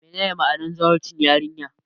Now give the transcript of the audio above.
Menene ma'anar zawarcin yarinya?